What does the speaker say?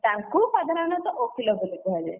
ତାଙ୍କୁ ସାଧାରଣତଃ ଓକିଲ ବୋଲି କୁହାଯାଏ।